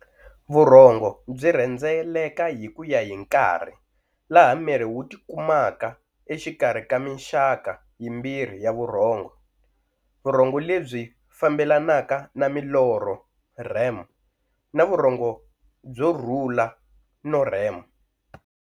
Vurhongo byi rhendzeleka hi kuya hi nkarhi, laha miri wu tikumaka exikarhi ka minxaka yimbirhi ya vurhongo-Vurhongo lebyi fambelanaka na milorho, REM, na vurhongo byorhula, no-REM